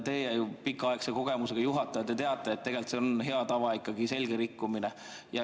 Teie pikaaegse kogemusega juhatajana teate, et tegelikult see on ikkagi hea tava selge rikkumine.